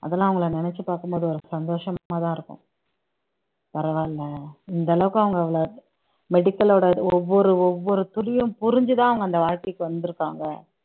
அதெல்லாம் அவங்களை நினைச்சு பார்க்கும் போது ஒரு சந்தோஷமாதான் இருக்கும் பரவாயில்லை இந்த அளவுக்கு அவங்க அவ்வளவு medical லோட ஒவ்வொரு ஒவ்வொரு துளியும் புரிஞ்சுதான் அவங்க அந்த வாழ்க்கைக்கு வந்திருக்காங்க